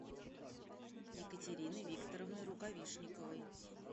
екатерины викторовны рукавишниковой